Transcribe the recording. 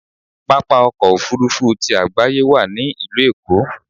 Pápá ọkọ̀ Òfurufú ti àgbáyé wà ní ìlú Èkó.